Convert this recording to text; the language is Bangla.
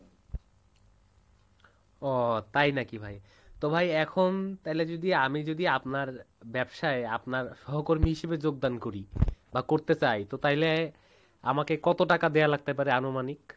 ও তাই নাকি ভাই? তো ভাই এখন তাইলে যদি আমি যদি আপনার ব্যবসায় আপনার সহকর্মী হিসেবে যোগদান করি বা করতে চাই তাইলে আমাকে কত টাকা দেয়া লাগতে পারে আনুমানিক?